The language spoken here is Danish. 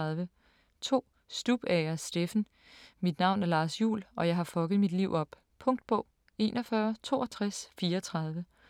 2. Stubager, Steffen: Mit navn er Lars Juhl, og jeg har fucket mit liv op Punktbog 416234